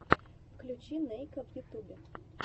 включи нейка в ютубе